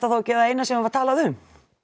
þá ekki það eina sem var talað um